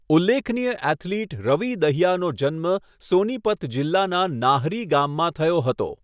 ઉલ્લેખનીય ઍથ્લીટ રવિ દહિયાનો જન્મ સોનીપત જિલ્લાના નાહરી ગામમાં થયો હતો.